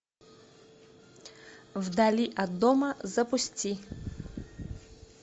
вдали от дома запусти